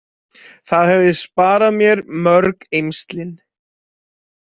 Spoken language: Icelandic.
Það hefði sparað mér mörg eymslin.